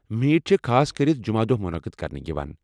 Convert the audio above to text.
Meat چھِ خاصكرِتھ جمعہ دۄہ مٗنقد كرنہٕ یوان ۔